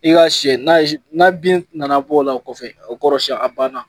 I ka siɲɛ n'a bin nana bɔ a la o kɔfɛ o kɔrɔ siɲɛ a ban na.